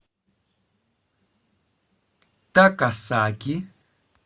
такасаки